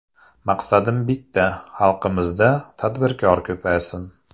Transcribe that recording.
Maqsadim bitta, xalqimizda tadbirkor ko‘paysin.